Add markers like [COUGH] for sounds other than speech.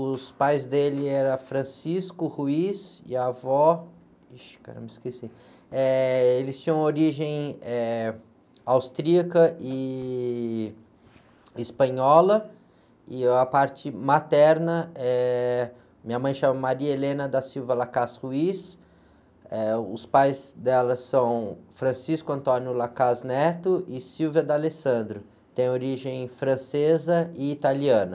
Os pais dele eram [UNINTELLIGIBLE] e a avó, [UNINTELLIGIBLE] caramba, esqueci. Eh, eles tinham origem, eh, austríaca e, e espanhola, e o, a parte materna, eh, minha mãe se chama, [UNINTELLIGIBLE] eh, os pais dela são [UNINTELLIGIBLE] e, [UNINTELLIGIBLE] têm origem francesa e italiana.